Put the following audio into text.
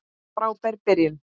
Frábær byrjun.